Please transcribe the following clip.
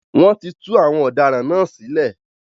Wọ́n ti tú àwọn ọ̀daràn náà sílẹ̀.